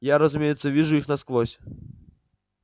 я разумеется вижу их насквозь